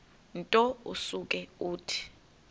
nto usuke uthi